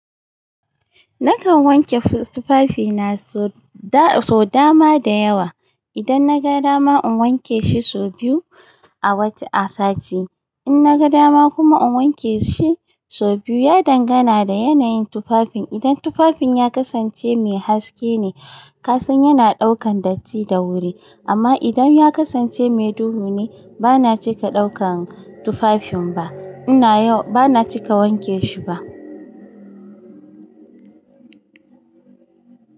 Nakan wanke tufafina sau da dama da yawa. Nakan wanke tufafina sau da dama da yawa. In naga dama kuma in wanke shi sau biyu. Ya dangana da yanayin tufafin. Idan tufafin ya kasance mai haske ne, kasan yana daukar datti da wuri amma idan ya kasance mai duhu ne bancika daukar tufafin ba ban cika wanke shi ba.